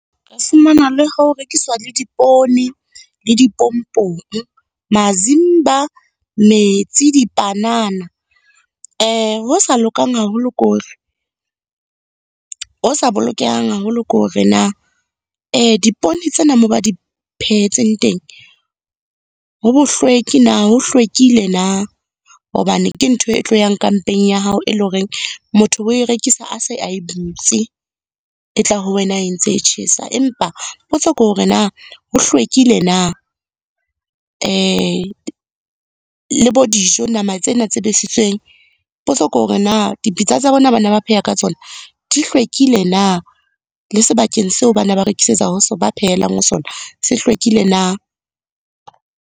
Re fumana le ho rekiswa le dipoone le dipompong, mazimba, metsi, dipanana. Ho sa lokang haholo ke hore, ho sa bolokehang haholo ke hore na dipoone tsena moo ba di phehetseng teng, ho bohlweki na? Ho hlwekile na? Hobane ke ntho e tlo yang ka mpeng ya hao, e leng hore motho we e rekisa a se a e butse, e tla ho wena e ntse e tjhesa. Empa, potso ke hore na ho hlwekile na? le bo dijo, nama tsena tse besitsweng. Potso ke hore na dipitsa tsa bona bana ba pheha ka tsona di hlwekile na? Le sebakeng seo ba na ba rekisetsa ho sona, ba phelang ho sona se hlwekile na?